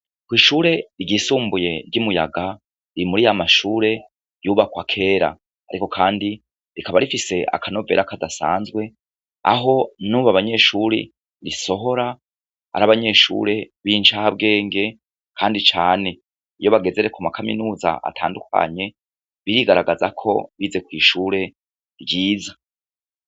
Kw'ishure ryisumbuye ry'i Muyaga, ni muri ya mashure yubakwa kera. Ariko kandi, rikaba rifise akanovera kadasanzwe, aho nubu abanyeshure risohora, ari abanyeshure b'incabwenge, kandi cane. Iyo bageze rero ku makaminuza atandukanye, birigaragaza ko bize kw'ishure ryiza.